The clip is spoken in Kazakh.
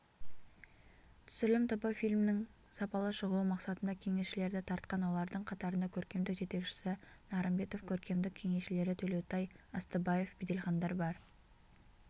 түсірілім тобы фильмнің сапалы шығуы мақсатында кеңесшілерді тартқан олардың қатарында көркемдік жетекшісі нарымбетов көркемдік кеңесшілері төлеутай ыстыбаев беделхандар бар